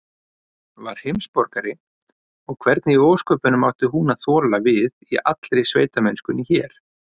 Var heimsborgari, og hvernig í ósköpunum átti hún að þola við í allri sveitamennskunni hér?